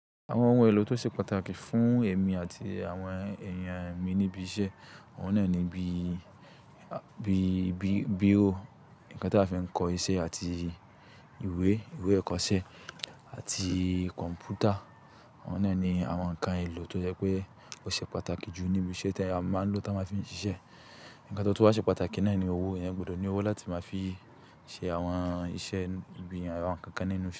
Àwọn ohun èlò tó ṣe pàtàkì fún èmi àti àwọn èèyàn ẹ̀mí níbi iṣẹ́, òun náà ni bí, bí, bí, bíro, ǹkan tí a fi ń kọ iṣẹ́ àti ìwé, ìwé ìkọṣẹ́ àti kọ̀ǹpútà. Wọn de ni àwọn ǹkan èlò tó jẹ́ pé ó ṣe pàtàkì jù níbi iṣẹ́ tí a máa ń lò tí a máa fi ń ṣiṣẹ́. Ǹkan tó tún wá ṣe pàtàkì náà ni owó. Eeyan gbọdọ̀ ní owó láti máa fi ṣe àwọn iṣẹ́ ìgbìyànjú àwọn ǹkan nínú iṣẹ́